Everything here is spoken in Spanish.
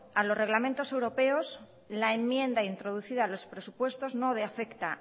a los reglamentos europeos la enmienda introducida a los presupuestos no afecta